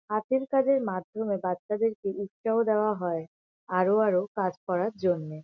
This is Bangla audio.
হাতের কাজের মাধ্যমে বাচ্চাদেরকে উৎসাহ দেওয়া হয় আরো আরো কাজ করার জন্যে।